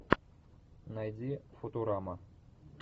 найди футурама